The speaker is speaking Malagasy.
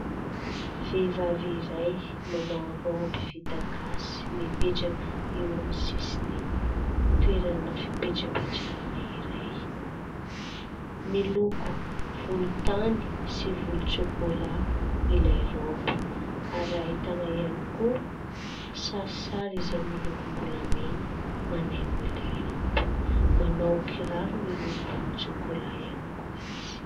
Vehivavy iray manao raoby vita gasy mipetraka eo amin'ny sisin'ny toerana fipetrapetrarana iray. Miloko volontany sy volontsôkôlà ilay raoby ary ahitana ihany koa kisarisary izay milokom-bolamena manaingo ilay raoby. Manao kiraro miloko volontsôkôlà ihany koa izy.